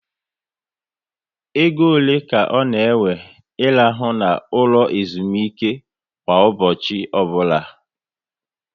Égo ole ka ọ na ewe I rahụ na ụlọ ezumike kwa ụbọchị ọbụla?